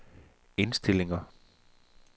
indstillinger